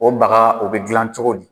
O baga o bɛ dilan cogo di ?